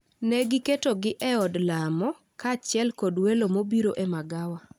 ne giketogi e od lamo, kaachiel kod welo mobiro e magawa.